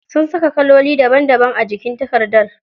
Sun saka kaloli daban daban a jikin takardar.